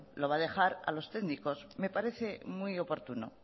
lo va a dejar a los técnicos me parece muy oportuno